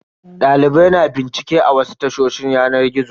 Dalibai na bincike a wasu tashoshin yanar gizo.